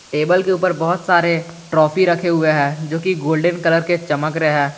Table के ऊपर बहोत सारे ट्रॉफी रखे हुए हैं जो की गोल्डन कलर के चमक रहे हैं।